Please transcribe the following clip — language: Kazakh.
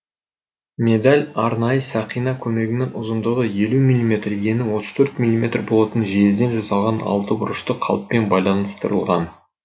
медаль арнайы сақина көмегімен ұзындығы елу миллиметр ені отыз төрт миллиметр болатын жезден жасалған алтыбұрышты қалыппен байланыстырылған